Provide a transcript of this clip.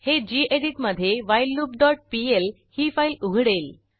हे गेडीत मधे whileloopपीएल ही फाईल उघडेल